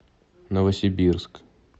новосибирск